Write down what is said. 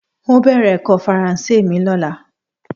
N óò bè̩rè̩ è̩kó̩ Faransé mi ló̩la